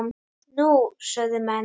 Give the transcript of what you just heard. Nú? sögðu menn.